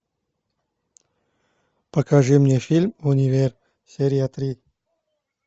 покажи мне фильм универ серия три